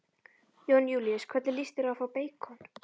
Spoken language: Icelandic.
Jón Júlíus: Hvernig lýst þér á að fá beikon?